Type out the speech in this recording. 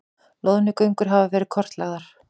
Loðnugöngur hafa verið kortlagðar